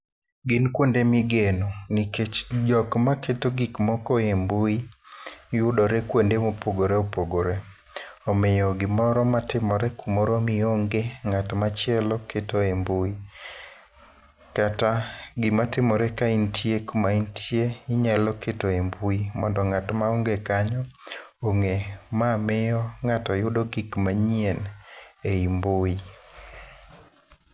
Gin kwonde migeno, nikech jok maketo gik moko e mbui yudore kuonde mopogore opogore. Omiyo gimoro matimore kumoro mionge ngát ma chielo keto e mbui. Kat gima timore kaintie kumaintie, inyalo keto e mbui mondo ngát ma onge kanyo ongé. Ma miyo ngáto yudo gik manyien e i mbui.